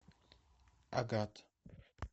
агат